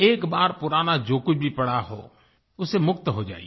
एक बार पुराना जो कुछ भी पड़ा हो उससे मुक्त हो जाइए